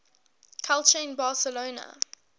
culture in barcelona